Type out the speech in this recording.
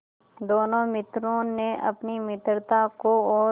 दोनों मित्रों ने अपनी मित्रता को और